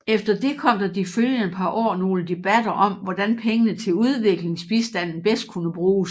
Efter det kom der de følgende par år nogle debatter om hvordan pengene til udviklingsbistanden bedst kunne bruges